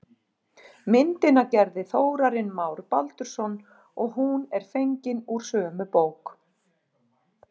Myndina gerði Þórarinn Már Baldursson og hún er fengin úr sömu bók.